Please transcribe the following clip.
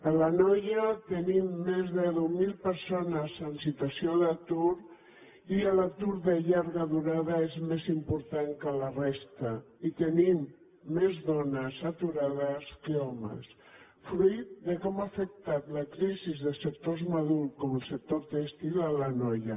a l’anoia tenim més de deu mil persones en situació d’atur i l’atur de llarga durada és més important que a la resta i tenim més dones aturades que homes fruit de com ha afectat la crisis de sectors com el sector tèxtil a l’anoia